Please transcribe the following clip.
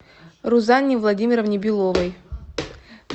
рузанне владимировне беловой